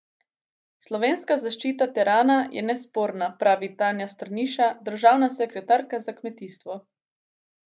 Slovenska zaščita terana je nesporna, pravi Tanja Strniša, državna sekretarka za kmetijstvo.